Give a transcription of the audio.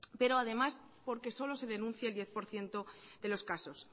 pero además porque solo se denuncia el diez por ciento de los casos